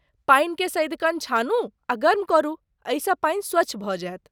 पानिके सदिखन छानू आ गर्म करू, एहिसँ पानि स्वच्छ भऽ जायत।